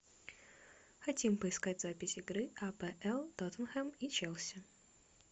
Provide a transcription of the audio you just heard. хотим поискать запись игры апл тоттенхэм и челси